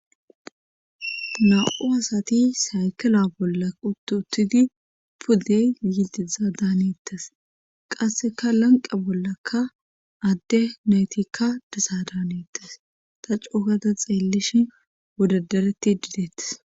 Namu asati saykila bolla uttuttidi pudey yidiza daanettes qasseka lanqa bollaka adde naytikka desa daanetes ta cuukata xeellishi wodadareti didettes